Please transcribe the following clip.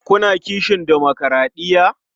Kuna kishin demokuraɗiya?